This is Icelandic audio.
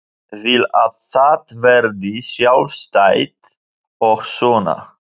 Vil að það verði sjálfstætt og svona.